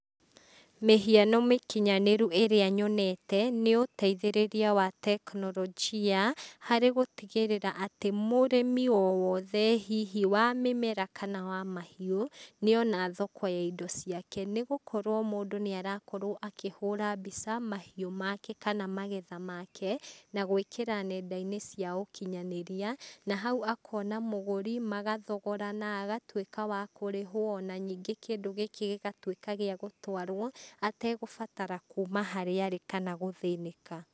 Mĩhiano mĩkinyanĩru ĩrĩa nyonete, nĩũteithĩrĩria wa tekinorojia, harĩ gũtigĩrĩra atĩ mũrimi o wothe, hihi wa mĩmera kana wa mahiũ, nĩona thoko ya indo ciake, nĩgũkorwo mũndũ nĩarakorwoa akĩhũra mbica mahiũ make, kana magetha make, na gwĩkĩra nendainĩ cia ũkinyanĩria, na hau akona mũgũri, magathogorana, agatuĩka wa kũrĩhwo na ningĩ kĩndũ gĩkĩ gĩgĩtuĩka gĩa gũtwarwo, atagũbatara kuma harĩa arĩ kana gũthĩnĩka.